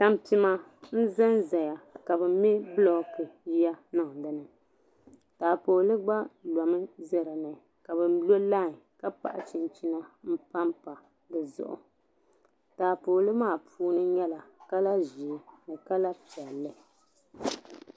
Tampima n-za zaya ka bɛ me bulooku ya niŋ dini taapooli gba lomi ʒe dini ka bɛ lo layi ka paɣi chinchina m-pa pa di zuɣu taapooli maa puuni nyɛla kala ʒee ni kala piɛlli.